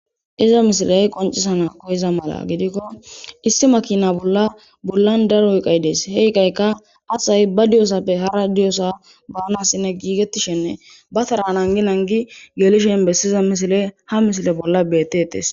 Iza misileyi qoniccisiza misileyi koyiza mala giddikko issi makina bola daro chanetida iqayi dese he iqayikka asayi ba diyosappe hara deiosa banasin e gigetishe ba Tara nanigi nanigi ha yushoyi besiza ha misile bola detesi